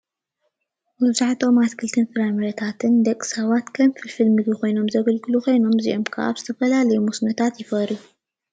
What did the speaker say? መብዛሕትኦም ኣትክልትን ፍራምረታትን ንደቂ ሰባት ከም ፍልፍል ምግቢ ኾይኖም ዘገልግሉ ኾይኖም እዚኦም ከዓ ኣብ ዝተፈላለዩ መስኖታት ይፈርዩ።